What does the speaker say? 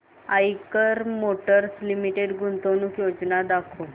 Eicher motors limited गुंतवणूक योजना दाखव